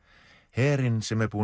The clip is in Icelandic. herinn sem er búinn